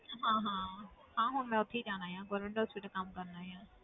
ਹਾਂ ਹਾਂ ਹਾਂ ਹੁਣ ਮੈਂ ਉੱਥੇ ਹੀ ਜਾਣਾ ਆਂ government hospital ਕੰਮ ਕਰਨਾ ਆਂ।